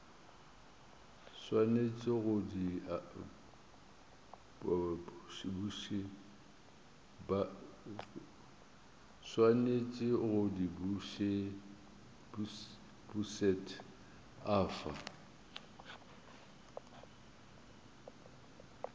swanetše go di bušet afa